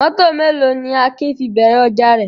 Mọ́tọ̀ mélòó ni Akin fi bẹ̀rẹ̀ ọjà rẹ̀?